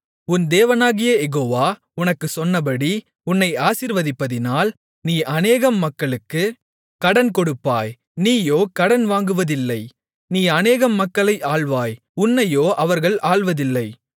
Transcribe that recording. உன் தேவனாகிய யெகோவா உனக்குச் சொன்னபடி உன்னை ஆசீர்வதிப்பதினால் நீ அநேகம் மக்களுக்குக் கடன் கொடுப்பாய் நீயோ கடன் வாங்குவதில்லை நீ அநேகம் மக்களை ஆள்வாய் உன்னையோ அவர்கள் ஆள்வதில்லை